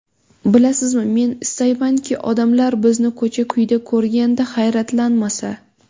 Bilasizmi, men istaymanki odamlar bizni ko‘cha-kuyda ko‘rganda hayratlanmasa.